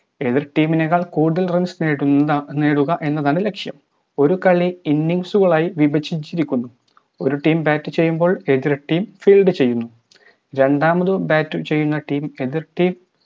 എതിർ team നേക്കാൾ കൂടുതൽ runs നേടുന്നു നേടുക എന്നതാണ് ലക്‌ഷ്യം ഒരു കളി innings കളായി വിഭജിച്ചിരിക്കുന്നു ഒരു team ചെയ്യുമ്പോൾ എതിർ team field ചെയ്യുന്നു രണ്ടാമതു bat ചെയ്യുന്ന team എതിർ team